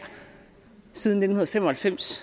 siden nitten fem og halvfems